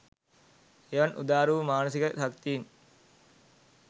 එවන් උදාර වූ මානසික ශක්තීන්